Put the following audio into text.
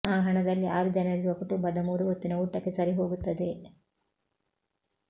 ಆ ಹಣದಲ್ಲಿ ಆರು ಜನರಿರುವ ಕುಟುಂಬದ ಮೂರು ಹೊತ್ತಿನ ಊಟಕ್ಕೆ ಸರಿಹೋಗುತ್ತದೆ